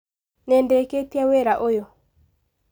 Nĩndĩkĩtie wĩra ũyũ.